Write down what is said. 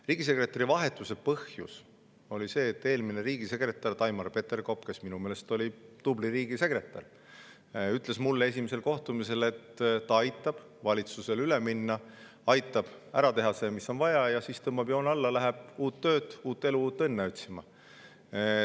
Riigisekretäri vahetuse põhjus oli see, et eelmine riigisekretär Taimar Peterkop, kes minu meelest oli tubli riigisekretär, ütles mulle esimesel kohtumisel, et ta aitab valitsusel, aitab ära teha selle, mis on vaja, ja siis tõmbab joone alla, läheb uut tööd, uut elu, uut õnne otsima.